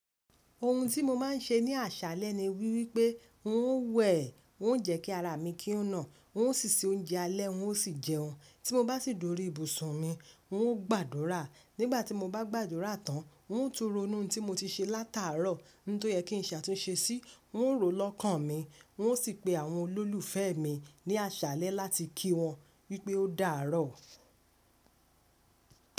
Ohun tí mo máa ń ṣe ní àṣálẹ́ ni wípé n ó wẹ̀, n ó jẹ́ kí ara mi kí o ná, n ó ṣíṣe oúnjẹ alẹ́ n ó sì jẹun. Tí mo bá sì dúró ibùsùn mi n ó gbàdúrà. Nígbà tí mo bá gbàdúrà tán n ó ń tún ronú ohun tí mo ti ṣe látàárọ̀, ohun tó yẹ kí n ṣàtúnṣe sí, n ó rò lọ́kàn mi n ó sì pe àwọn olólùfẹ́ mi ní àṣálẹ́ láti kí wọn wípé o dáàárọ̀.